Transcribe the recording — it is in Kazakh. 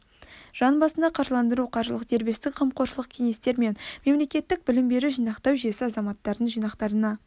жан басына қаржыландыру қаржылық дербестік қамқоршылық кеңестер және мемлекеттік білім беру жинақтау жүйесі азаматтардың жинақтарына